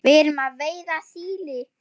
Við erum að veiða síli.